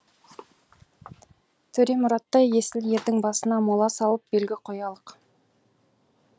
төремұраттай есіл ердің басына мола салып белгі қоялық